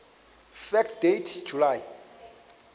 fact date july